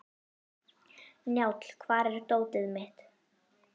Njáll, hvar er dótið mitt?